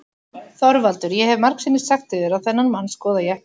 ÞORVALDUR: Ég hef margsinnis sagt yður að þennan mann skoða ég ekki.